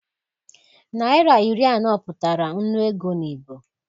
Naira iri anọ pụtara nnu ego n'Igbo